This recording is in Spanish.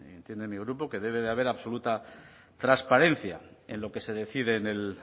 de entiende mi grupo que debe de haber absoluta transparencia en lo que se decide en el